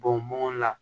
Bɔn la